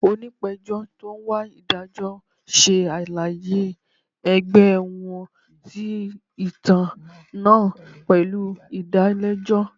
Onipejọ ti o n wa idajọ ṣe alaye ẹgbẹ wọn ti itan naa pẹlu idalẹjọ.